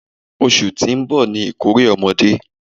Oṣù tí ó ń bọ̀ ni ìkórè ọmọdé.